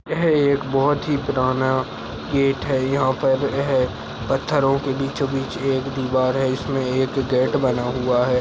यह एक बोहोत ही पुराना गेट है यहाँ पर है पत्थरों के बीचो बीच एक दीवार है इसमे एक गेट बना हुआ है।